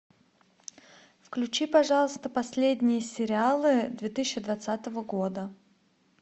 включи пожалуйста последние сериалы две тысячи двадцатого года